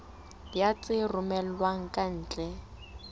ya tse romellwang ka ntle